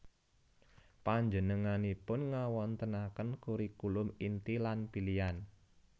Panjenenganipun ngawontenaken kurikulum inti lan pilian